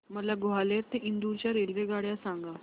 मला ग्वाल्हेर ते इंदूर च्या रेल्वेगाड्या सांगा